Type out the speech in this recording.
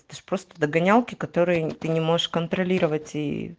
это же просто догонялки которые ты не можешь контролировать и